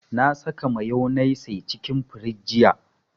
Na saka mayonnaise cikin firiji jiya